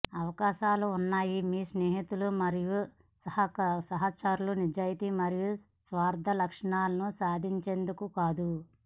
అవకాశాలు ఉన్నాయి మీ స్నేహితులు మరియు సహచరులు నిజాయితీ మరియు స్వార్థ లక్ష్యాలను సాధించేందుకు కాదు